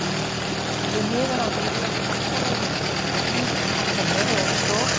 Því miður á ég yfirleitt alltaf óleyst verkefni, sem eru eins og